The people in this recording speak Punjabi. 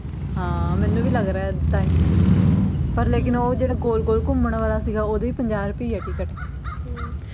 ਹਾਂ ਮੈਨੂੰ ਵੀ ਲੱਗ ਰਿਹਾ ਐ ਤਾਂਹੀਂ ਪਰ ਲੇਕਿਨ ਉਹ ਜਿਹੜਾ ਗੋਲ ਗੋਲ ਘੁਮਣ ਵਾਲਾ ਸੀਗਾ ਉਹਦੀ ਵੀ ਪੰਜਾਹ ਰੁਪਈਏ ਐ ਟਿਕਟ ਹਮ